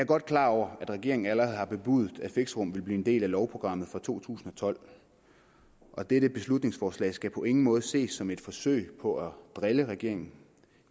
godt klar over at regeringen allerede har bebudet at fixerum vil blive en del af lovprogrammet for to tusind og tolv og dette beslutningsforslag skal på ingen måde ses som et forsøg på at drille regeringen